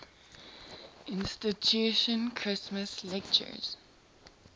institution christmas lectures